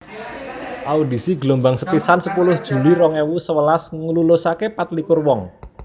Audisi gelombang sepisan sepuluh Juli rong ewu sewelas nglulusaké patlikur wong